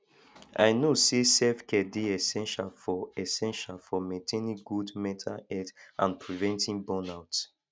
i know say selfcare dey essential for essential for maintaining good mental health and preventing burnout